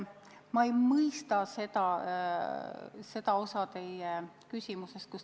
Ma ei mõista osa teie küsimusest.